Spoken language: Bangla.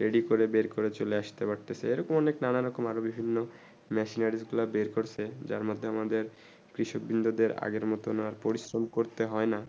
ready করে বের করে চলে আস্তে পারতেছে এই রকম নানা রকম আরও বিভিন্ন machine উতলা বের করছে যার মদদে আমাদের কৃষক বিন্দু দের আরও মতুন আর পরিশ্রম করতে হয়ে না